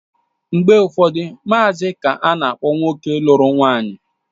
Mgbe ụfọdụ, maazi ka ana-akpọ nwoke lụrụ nwaanyị